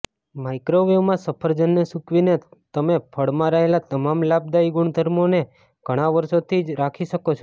માઇક્રોવેવમાં સફરજનને સૂકવીને તમે ફળમાં રહેલા તમામ લાભદાયી ગુણધર્મોને ઘણા વર્ષોથી રાખી શકો છો